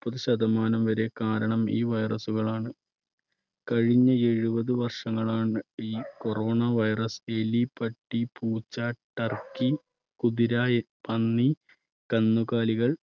പ്പത് ശതമാനം വരെ കാരണം ഈ virus കളാണ്. കഴിഞ്ഞ എഴുപത് വർഷങ്ങളാണ് ഈ corona virus എലി, പട്ടി, പൂച്ച, ടർക്കി, കുതിര, പന്നി, കന്നുകാലികൾ